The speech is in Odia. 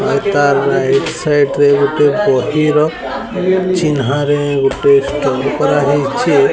ଏଟା ରାଇଟ ସାଇଟ ରେ ଗୁଟେ ବହିର ଚିହ୍ନରେ ଗୁଟେ ଷ୍ଟମ୍ପା ହୋଇଛି।